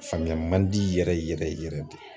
Faamuya man di yɛrɛ yɛrɛ yɛrɛ de